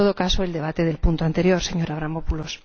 en todo caso, el debate del punto anterior, señor Avramopoulos.